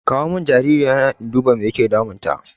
Kawo mun jaririyan nan in dubi mai yake damun ta